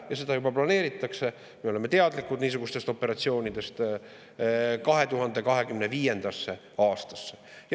Ja seda juba planeeritakse – me oleme teadlikud niisugustest operatsioonidest – 2025. aastasse.